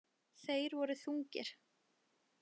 Þeir voru þungir.